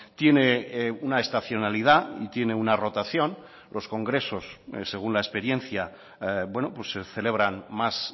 tiene una estacionalidad y tiene una rotación los congresos según la experiencia se celebran más